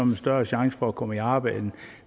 man større chance for at komme i arbejde end